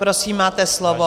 Prosím, máte slovo.